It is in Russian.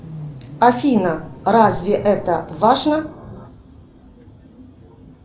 афина разве это важно